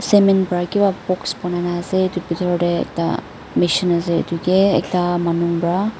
cement para kiba box banai na ase etu bithor teh ekta mishin ase etuke ekta manu pra--